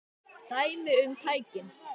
Dæmi um tækni